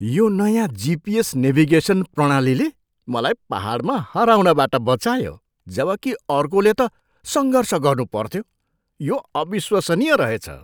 यो नयाँ GPS navigation प्रणालीले मलाई पाहाडमा हराउनबाट बचायो जबकि अर्कोले त सङ्घर्ष गर्नु पर्थ्यो। यो अविश्वसनीय रहेछ!